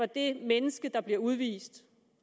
det menneske der bliver udvist